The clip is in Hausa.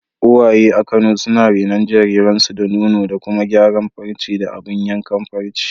Uwaye a Kano suna renon jariransu da nono da kuma gyara farce da abun yankan farce.